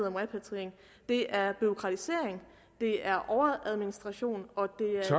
om repatriering det er bureaukratisering det er overadministration og